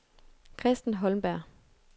Christen Holmberg